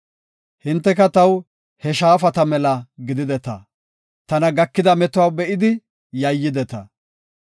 Hinteka taw he shaafata mela gidideta; tana gakida metuwa be7idi yayyideta.